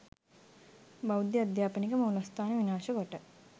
බෞද්ධ අධ්‍යාපනික මූලස්ථාන විනාශකොට